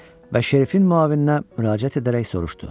Və Şerifin müavininə müraciət edərək soruşdu.